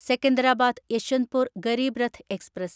Secunderabad Yesvantpur Garib Rath express